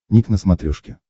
ник на смотрешке